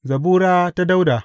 Zabura ta Dawuda.